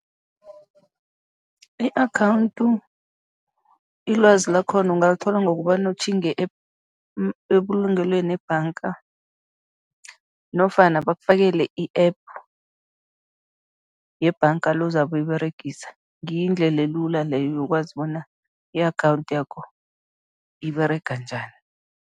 I-akhawundi, ilwazi lakhona ungalithola ngokobana utjhinge ebulungelweni, ebhanga nofana bakufakela i-App yebhanga le ozabe uyiberegisa, ngiyo indlela elula leyo yokwazi bona i-akhawundi yakho iberega njani.